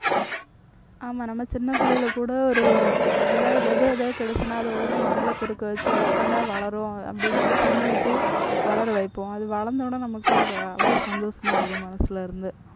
ஆமா நம்ம சின்ன பிள்ளையில கூட ஒரு ஏதாவது விதை ஏதாவது கிடைச்சுதுன்னா அதை உடனே மண்ல குறுக்க வச்சு அது எப்படிடா வளரும் அப்படின்னு சொல்லி தண்ணி ஊத்தி வளர வைப்போம். அது வளர்ந்த உடனே நமக்கு ஒரு அஹ் அவ்வளவு சந்தோஷமா இருக்கும் மனசுல இருந்து.